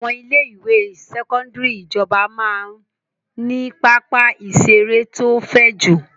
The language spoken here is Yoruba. Àwọn ilé-ìwé sẹ́kọ́ndárì ìjọba máa ń ní pápá-ìṣeré tó fẹ̀ jù.